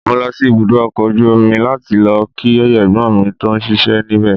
Mo lọ sí ibùdó ọkọ̀ ojú omi láti lọ kí Ẹ̀gbọ́n mi tó ń ṣíṣe níbẹ̀.